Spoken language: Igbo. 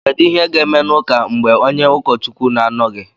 kedu ihe ga-eme n’ụka mgbe onye ụkọchukwu na-anọghị